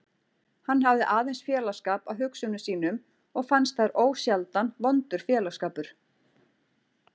Hann hafði aðeins félagsskap af hugsunum sínum og fannst þær ósjaldan vondur félagsskapur.